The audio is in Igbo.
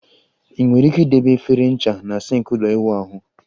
Ị nwere ike idebe efere ncha na sink ụlọ ịwụ ahụ